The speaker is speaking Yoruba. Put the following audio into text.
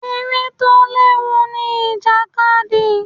Eré tó léwu ni ìjàkadì.